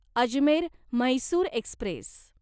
Ajmer Mysore Express